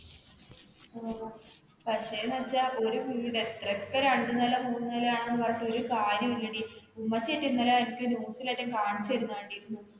മ്മ്മ് പക്ഷെന്നുവച്ചാല് ഒരുവീടൊക്കെ രണ്ടുനില, മൂന്നുനില എന്നൊക്കെ പറഞ്ഞിട്ട് ഒരു കാര്യമില്ലെടി, ഉമ്മച്ചിയൊക്കെ ഇന്നലെ എനിക്ക് news ലൊക്കെ കാണിച്ചുതരുന്നകണ്ടിരുന്നു.